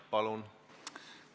Palun!